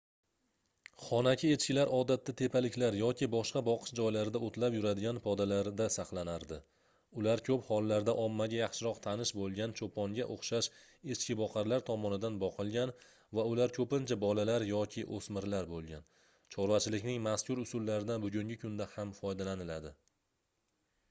xonaki echkilar odatda tepaliklar yoki boshqa boqish joylarida oʻtlab yuradigan podalarda saqlanardi ular koʻp hollarda ommaga yaxshiroq tanish boʻlgan choʻponga oʻxshash echkiboqarlar tomonidan boqilgan va ular koʻpincha bolalar yoki oʻsmirlar boʻlgan chorvachilikning mazkur usullaridan bugungi kunda ham foydalaniladi